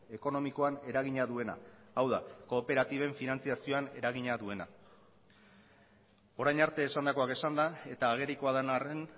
ekonomikoan eragina duena hau da kooperatiben finantziazioan eragina duena orain arte esandakoak esanda eta agerikoa den arren